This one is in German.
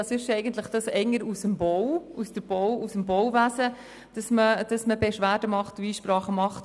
Man kennt es sonst eher aus dem Bauwesen, dass man Beschwerden und Einsprachen macht.